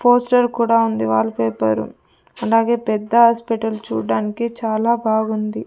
Poster కూడా ఉంది wallpaper అలాగే పెద్ద ఆస్పిటల్ చూడ్డానికి చాలా బాగుంది.